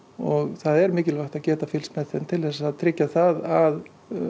og það er mikilvægt að geta fylgst með þeim til þess að tryggja það að